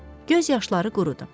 Göz yaşları qurudu.